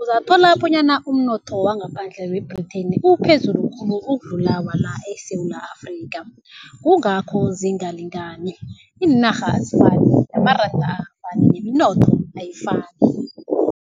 Uzathola bonyana umnotho wangaphandle we-Britain uphezulu khulu ukudlula wa eSewula Afrika, kungakho zingalingani. Iinarha azifani, amaranda akafani neminotho ayifani.